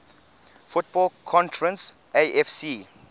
football conference afc